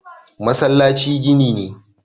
masallaci gini ne